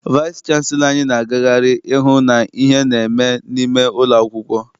Vaịsị chanselọ anyị na-agagharị ihu ihe na-eme n'ime ụlọ akwụkwọ.